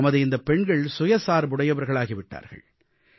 நமது இந்தப் பெண்கள் சுயசார்புடையவர்களாகி விட்டார்கள்